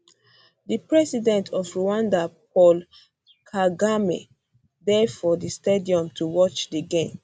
di um president of rwanda paul kagame dey for di stadium to watch di game